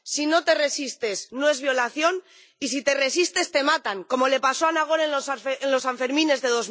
Si no te resistes, no es violación, y si te resistes te matan, como le pasó a Nagore en los Sanfermines de